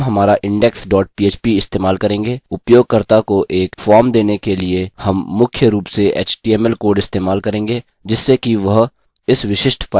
हम हमारा index dot php इस्तेमाल करेंगे उपयोगकर्ता को एक फॉर्म देने के लिए हम मुख्य रूप से html कोड इस्तेमाल करेंगे जिससे कि वह इस विशिष्ट फाइल को जमा कर सके